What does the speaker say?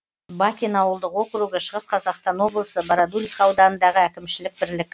бакин ауылдық округі шығыс қазақстан облысы бородулиха ауданындағы әкімшілік бірлік